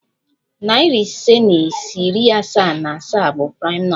Nari ise na iri asaa na asaa bụ praịm nọmba.